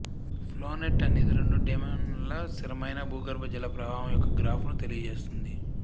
flow net అనేది రెండు డైమెన్శన్ల స్థిరమైన భూగర్భ జల ప్రవాహము యొక్క గ్రాఫును తెలియజేస్తుంది